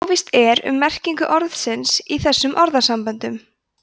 óvíst er um merkingu orðsins í þessum orðasamböndum